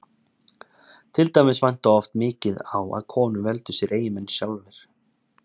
til dæmis vantaði oft mikið á að konur veldu sér eiginmenn sjálfar